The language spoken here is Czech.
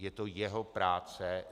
Je to jeho práce.